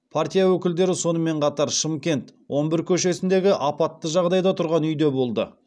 партия өкілдері сонымен қатар шымкент он бір көшесіндегі апатты жағдайда тұрған үйде болды